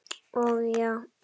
Og já.